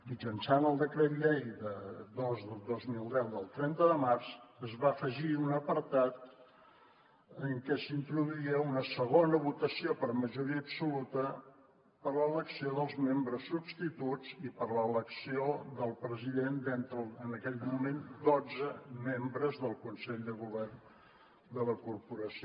mitjançant el decret llei dos dos mil deu del trenta de març es va afegir un apartat en què s’introduïa una segona votació per majoria absoluta per a l’elecció dels membres substituts i per a l’elecció del president d’entre en aquell moment dotze membres del consell de govern de la corporació